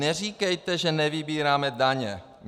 Neříkejte, že nevybíráme daně.